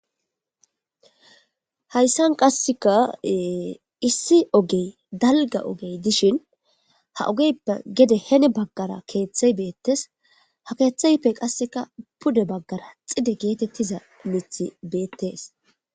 Hayisan qasika issi oge dalga oge dishin ha ogeppe qasi hini bagara kethayi betes ketheppe qasi pude bagara xidde getetida mithayi betes